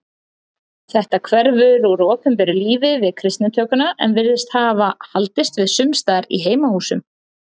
Þetta hverfur úr opinberu lífi við kristnitökuna en virðist hafa haldist við sumstaðar í heimahúsum.